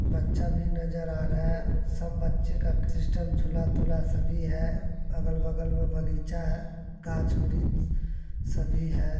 बच्चा भी नजर आ रहा है सब बच्चे का सिस्टम झूला तुला सभी है अगल-बगल में बगीचा है। घाच ब्रिछ सभी है |